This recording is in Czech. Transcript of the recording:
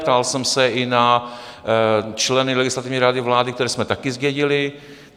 Ptal jsem se i na členy Legislativní rady vlády, které jsme také zdědili.